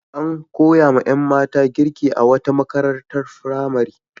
An koyawa ƴan mata girki a wata makarantar firamare.